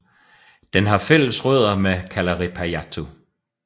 Den har fælles rødder med Kalarippayattu